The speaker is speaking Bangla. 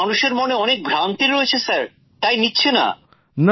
মানুষের মনে অনেক ভ্রান্তি রয়েছ স্যার তাই নিচ্ছে না